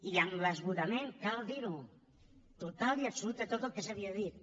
i amb l’esgotament cal dir ho total i absolut de tot el que s’havia dit